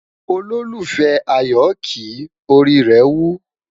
ololufẹ ayo kí, orí rè wù